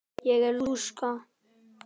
Ég er lúsug.